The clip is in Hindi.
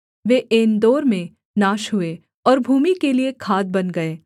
वे एनदोर में नाश हुए और भूमि के लिये खाद बन गए